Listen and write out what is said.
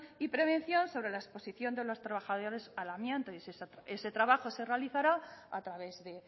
y prevención sobre la exposición de los trabajadores al amianto y ese trabajo se realizará a través de